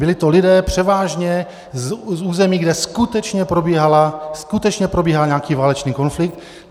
Byli to lidé převážně z území, kde skutečně probíhal nějaký válečný konflikt.